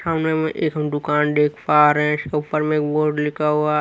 सामने में एक हम दुकान देख पा रहे हैं इसके ऊपर में एक बोर्ड लिखा हुआ--